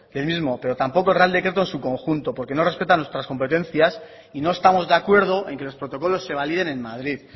del mismo pero tampoco el real decreto en su conjunto porque no respeta nuestras competencias y no estamos de acuerdo en que los protocolos se validen en madrid